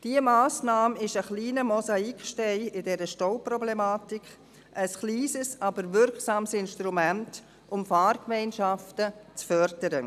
Diese Massnahme ist ein kleiner Mosaikstein in dieser Stauproblematik, ein kleines, aber wirksames Instrument, um Fahrgemeinschaften zu fördern.